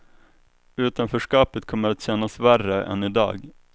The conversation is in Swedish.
Utanförskapet kommer att kännas värre än i dag.